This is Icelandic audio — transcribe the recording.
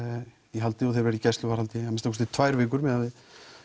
í haldi og þeir verða í gæsluvarðhaldi í tvær vikur miðað við